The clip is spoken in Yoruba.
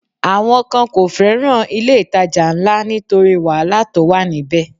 Àwọn kan kò fẹ́ràn ilé-ìtajà ńlá nítorí wàhálà tó wà níbẹ̀